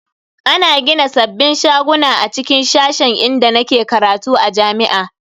Ana gina sabbin shaguna a cikin sashen inda nake karatu a jami'a.